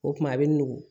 O tuma a bɛ nugu